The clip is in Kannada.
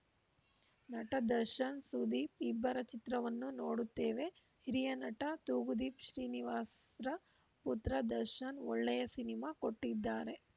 ನಟ ದರ್ಶನ್‌ ಸುದೀಪ್‌ ಇಬ್ಬರ ಚಿತ್ರವನ್ನೂ ನೋಡುತ್ತೇವೆ ಹಿರಿಯ ನಟ ತೂಗುದೀಪ ಶ್ರೀನಿವಾಸ್‌ರ ಪುತ್ರ ದರ್ಶನ್‌ ಒಳ್ಳೆಯ ಸಿನಿಮಾ ಕೊಟ್ಟಿದ್ದಾರೆ